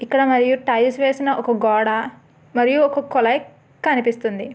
ఇక్కడ మరియు టైల్స్ వేసిన ఒక గోడ మరియు ఒక కులాయి కనిపిస్తుంది.